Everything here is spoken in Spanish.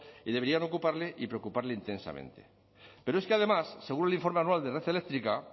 y deberían ocuparle y preocuparle intensamente pero es que además según el informe anual de red eléctrica